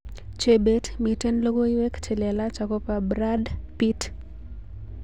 Chebet miten logoiwek chelelach akobo Brad Pitt